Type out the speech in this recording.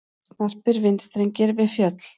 Snarpir vindstrengir við fjöll